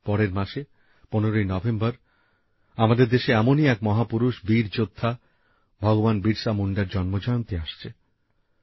পরের মাসে ১৫ই নভেম্বর আমাদের দেশের এমনই এক মহাপুরুষ বীর যোদ্ধা ভগবান বিরসা মুন্ডার জন্ম জয়ন্তী আসছে